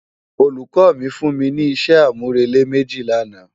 Ólúkò mi fún mi ni isé ámúrélé méji làná